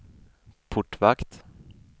portvakt